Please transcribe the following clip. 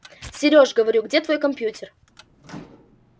сереж говорю где твой компьютер